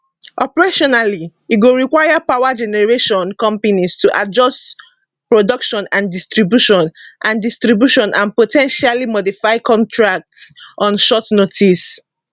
operationally e go require power generation companies to adjust production and distribution and distribution and po ten tially modify contracts on short notice